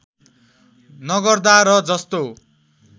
नगर्दा र जस्तो